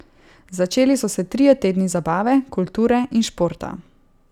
Začeli so se trije tedni zabave, kulture in športa.